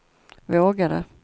vågade